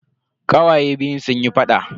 Kawaye biyun suna faɗa.